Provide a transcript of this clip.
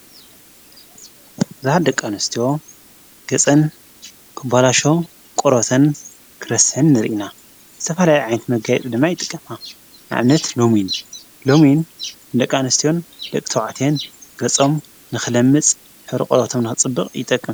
ቡዝሓት ደቃንስትዎ ገጸን ክባላሾ ቖሮተን ክረሴን ርኢና ተፋላይ ዓይት መጋይጥ ድማ ኣይጥቀማ ዓምነት ሎሚን ሎሚን ደቃንስትዮን ልቕተውዓቴን ገጾም ንኽለምጽ ሕሪ ቖሮቶምና ጽብቕ ይጠቅም።